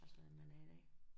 Altså at man er da ikke